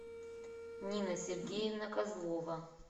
нина сергеевна козлова